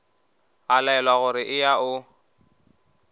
a laelwa gore eya o